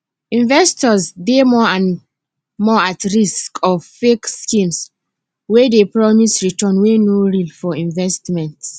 investors dey more and more at risk of fake schemes wey dey promise return wey no real for investments